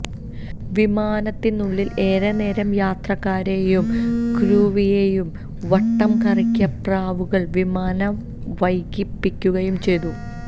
വിമാനത്തിനുള്ളില് ഏറെ നേരം യാത്രക്കാരെയും ക്രൂവിനെയും വട്ടം കറക്കിയ പ്രാവുകള് വിമാനം വൈകിപ്പിക്കുകയും ചെയ്തു